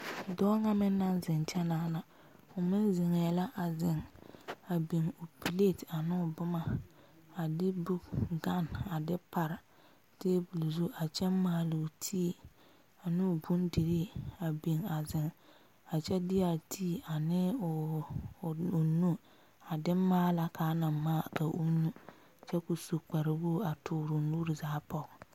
Dɔɔ ŋa meŋ naŋ zeŋ kyɛ naana o meŋ zeŋe la a zeŋ a biŋ o peleti ane o boma a de book gane a de pare tabol zu a kyɛ maalo ti a noo bondire a zeŋ a kyɛ de a ti ane o nu a de maala kaa na maa ka o nyu kyɛ ko su kpare wogi a tuure o nuure zaa poɔ.